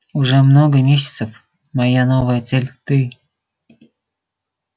уже много месяцев моя новая цель ты